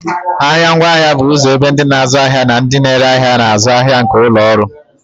Ahịa ngwaahịa bụ ụzọ ebe ndị na-azụ ahịa na ndị na-ere ahịa na-azụ ahịa nke ụlọ ọrụ